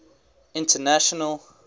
international